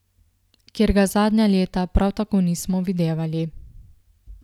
Kjer ga zadnja leta prav tako nismo videvali.